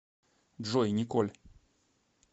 джой николь